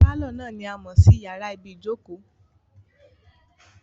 Pálọ̀ náà ni a mọ̀ sí yàrá ibìí jókòó